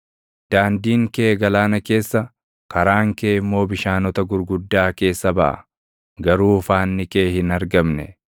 Daandiin kee galaana keessa, karaan kee immoo bishaanota gurguddaa keessa baʼa; garuu faanni kee hin argamne.